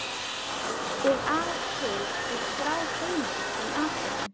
Og að til sé skráð heimild um atburðinn.